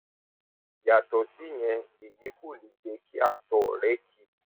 yàtọ síyẹn èyí kò lè jẹ kí àtọ rẹ ki